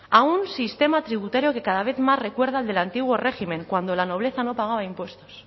a un sistema tributario que cada vez más recuerda al del antiguo régimen cuando la nobleza no pagaba impuestos